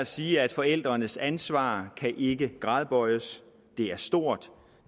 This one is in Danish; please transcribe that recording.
sige at forældrenes ansvar ikke kan gradbøjes det er stort